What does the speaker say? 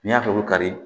N'i y'a tobi kari